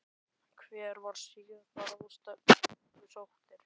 Hver var síðasta ráðstefnan sem þú sóttir?